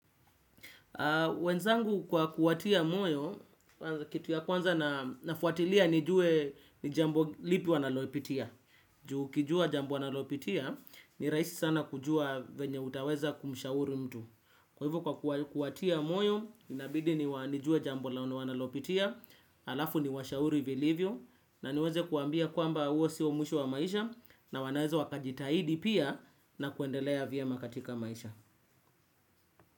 Wenzangu kwa kuwatia moyo, kitu ya kwanza nafuatilia nijue ni jambo lipi wanalopitia. Juu ukijua jambo analopitia ni rahisi sana kujua venye utaweza kumshauri mtu. Kwa hivyo kwa kuwatia moyo, inabidi nijue jambo laono wanalopitia, alafu niwashauri vilivyo, na niweze kuwaambia kwamba huo sio mwisho wa maisha na wanaweza wakajitahidi pia na kuendelea vyema katika maisha.